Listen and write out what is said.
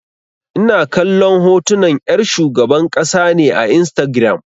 Ina kallon hotunan 'yar shugaban ƙasa ne a Instagiram.